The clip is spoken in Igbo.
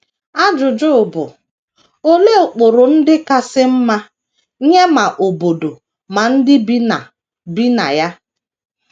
Ajụjụ bụ: Olee ụkpụrụ ndị kasị mma, nye ma obodo ma ndị bi na bi na ya?